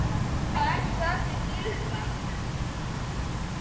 Það elskuðu allir Gylfa.